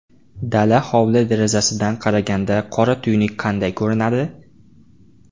Dala hovli derazasidan qaraganda qora tuynuk qanday ko‘rinadi?